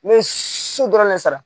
N bɛ su dɔrɔn ne sara